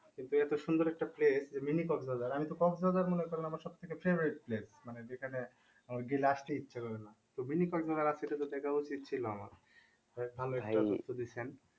কিন্তু এত সুন্দর একটা place যে mini কক্স বাজার আমি তো কক্স বাজার মনে করলে আমার সব থেকে favorite place মানে যেখানে তো mini কক্স বাজার দেখা উচিত ছিল আমার